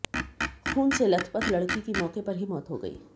खून से लथपथ लड़की की मौके पर ही मौत हो गई